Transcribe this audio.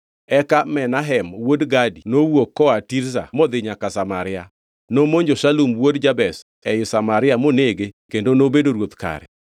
Eka Menahem wuod Gadi nowuok koa Tirza modhi nyaka Samaria. Nomonjo Shalum wuod Jabesh ei Samaria monege kendo nobedo ruoth kare.